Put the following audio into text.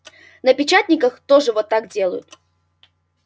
на печатниках тоже вот делают